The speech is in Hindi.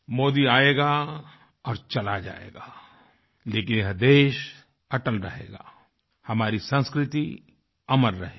मोदी आएगा और चला जाएगा लेकिन यह देश अटल रहेगा हमारी संस्कृति अमर रहेगी